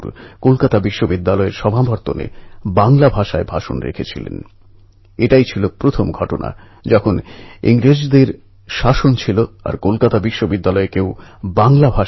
সন্ত জ্ঞানেশ্বর আর সন্ত তুকারামের মত সন্ন্যাসীদের পাদুকা পালকিতে রেখে বিঠ্ঠল ভগবানের নামে নাচগান করতে করতে পণ্ঢরপুরের দিকে রওনা দেওয়া হয়